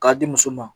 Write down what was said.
K'a di muso ma